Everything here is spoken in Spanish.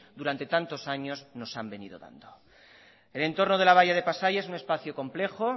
durante tantos años nos han venido dando el entorno de la bahía de pasaia es un espacio complejo